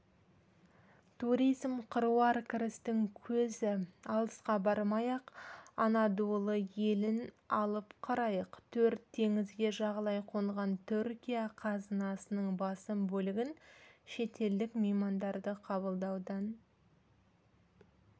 туризм қыруар кірістің көзі алысқа бармай-ақ анадолы елін алып қарайық төрт теңізге жағалай қонған түркия қазынасының басым бөлігін шетелдік меймандарды қабылдаудан